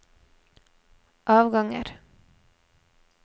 avganger